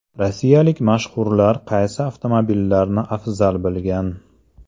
Rossiyalik mashhurlar qaysi avtomobillarni afzal bilgan?